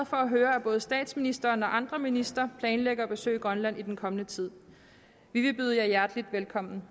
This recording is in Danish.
for at høre at både statsministeren og andre ministre planlægger at besøge grønland i den kommende tid vi vil byde jer hjerteligt velkommen